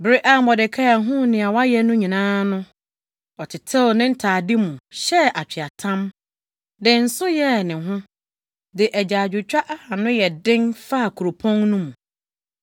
Bere a Mordekai huu nea wɔayɛ no nyinaa no, ɔtetew ne ntade mu, hyɛɛ atweaatam, de nsõ yɛɛ ne ho, de agyaadwotwa a ano yɛ den faa kuropɔn no mu.